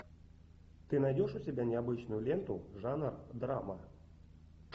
ты найдешь у себя необычную ленту жанр драма